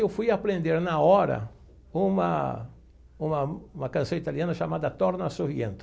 E eu fui aprender na hora uma uma uma canção italiana chamada Torna A Surriento.